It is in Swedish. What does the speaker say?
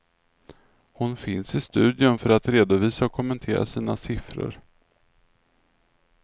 Hon finns i studion för att redovisa och kommentera sina siffror.